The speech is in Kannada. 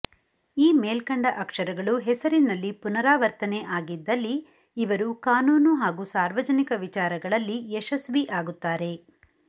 ಈ ಮೇಲ್ಕಂಡ ಅಕ್ಷರಗಳು ಹೆಸರಿನಲ್ಲಿ ಪುನರಾವರ್ತನೆ ಆಗಿದ್ದಲ್ಲಿ ಇವರು ಕಾನೂನು ಹಾಗೂ ಸಾರ್ವಜನಿಕ ವಿಚಾರಗಳಲ್ಲಿ ಯಶಸ್ವಿ ಆಗುತ್ತಾರೆ